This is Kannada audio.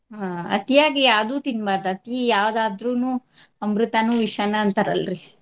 ಆ ಅತಿಯಾಗಿ ಯಾವ್ದೂ ತಿನ್ಬಾರ್ದ್. ಅತೀ ಯಾವ್ದಾದ್ರುನು ಅಮೃತಾನು ವಿಷಾನ ಅಂತಾರಲ್ರಿ.